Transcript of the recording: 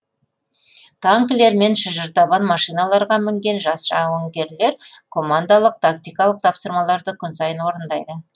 танкілер мен шынжыртабан машиналарға мінген жас жауынгерлер командалық тактикалық тапсырмаларды күн сайын орындайды